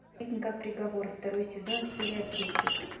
жизнь как приговор второй сезон серия тридцать